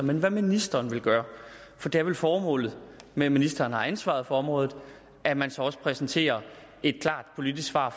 men hvad ministeren vil gøre for det er vel formålet med at ministeren har ansvar for området at man så også præsenterer et klart politisk svar